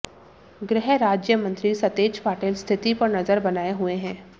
गृहराज्य मंत्री सतेज पाटिल स्थिति पर नजर बनाए हुए हैं